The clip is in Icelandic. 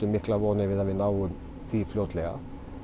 miklar vonir við að við náum því fljótlega